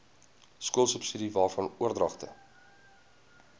skoolsubsidies waarvan oordragte